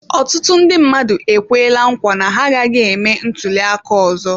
Ọtụtụ ndị mmadụ ekwela nkwa na ha agaghị eme ntuliaka ọzọ.